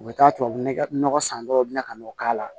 U bɛ taa tubabu nɔgɔ san dɔrɔn u bina ka n'o k'a la